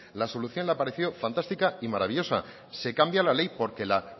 la solución le ha parecido fantástica y maravillosa se cambia la ley porque la